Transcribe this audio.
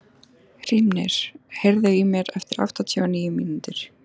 Hrímnir, heyrðu í mér eftir áttatíu og níu mínútur.